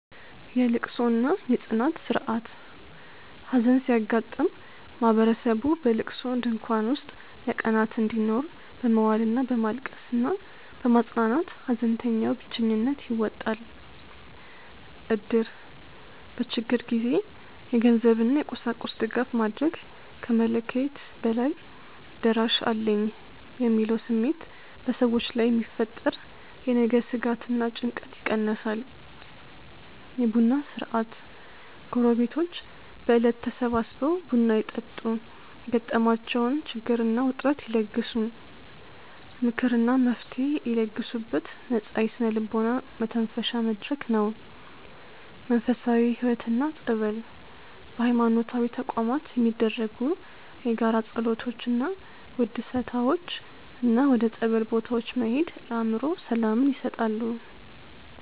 የልቅሶ እና የጽናት ሥርዓት ሐዘን ሲያጋጥም ማህበረሰቡ በልቅሶ ድንኳን ውስጥ ለቀናት እንዲኖር በመዋል እና በማልቀስ እና በማጽናናት ሐዘንተኛው ብቸኝነት ይወጣል። እድር በችግር ጊዜ የገንዘብ እና የቁሳቁስ ድጋፍ ማድረግ ከመለክየት በላይ "ደራሽ አለኝ" የሚለው ስሜት በሰዎች ላይ የሚፈጠር የነገ ስጋት እና ጭንቀት ይቀንሳል። የቡና ሥርዓት ጎረቤቶች በዕለት ተሰባስበው ቡና ይጠጡ የገጠማቸውን ችግር እና ውጥረት ይለግሱ። ምክር እና መፍትሔ ይለግሱበት ነፃ የስነ-ልቦና መተንፈሻ መድረክ ነው። መንፈሳዊ ሕይወት እና ጸበል በሃይማኖታዊ ተቋማት የሚደረጉ የጋራ ጸሎቶች እና ውድሰታዎች እና ወደ ጸበል ቦታዎች መሄድ ለአእምሮ ሰላምን ይሰጣሉ።